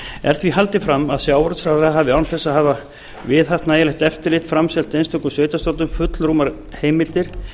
er því haldið fram að sjávarútvegsráðherra hafi án þess að hafa viðhaft nægilegt eftirlit framselt einstökum sveitarstjórnum full rúmar heimildir